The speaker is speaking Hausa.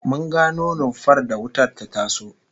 Mun gano rumfar da wutar ta taso